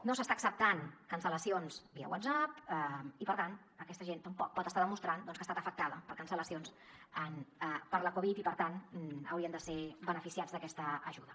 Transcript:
no s’estan acceptant cancel·lacions via whatsapp i per tant aquesta gent tampoc pot estar demostrant doncs que ha estat afectada per cancel·lacions per la covid i per tant haurien de ser beneficiats d’aquesta ajuda